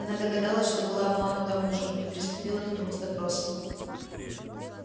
она догадалась что была обманута мужем и приступила к нему с допросом